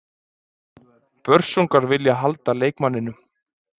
Börsungar vilja halda leikmanninum.